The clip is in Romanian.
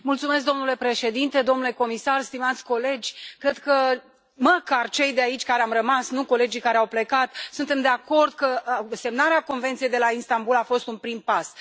Domnule președinte, domnule comisar, stimați colegi, cred că măcar cei de aici care am rămas, nu colegii care au plecat suntem de acord că semnarea Convenției de la Istanbul a fost un prim pas.